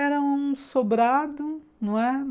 Era um sobrado, não é?